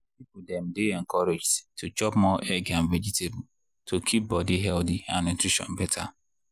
people dem dey encouraged to chop more egg and vegetable to keep body healthy and nutrition better.